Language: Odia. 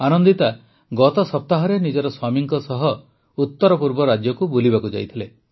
ଆନନ୍ଦିତା ଗତ ସପ୍ତାହରେ ନିଜ ସ୍ୱାମୀଙ୍କ ସହିତ ଉତ୍ତରପୂର୍ବ ରାଜ୍ୟକୁ ବୁଲିବାକୁ ଯାଇଥିଲେ